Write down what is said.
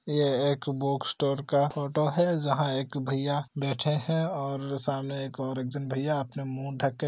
ये एक book store का फोटो है जहाँ एक भैया बैठे है और सामने एक और एक झन भैया अपना मुह ढक के---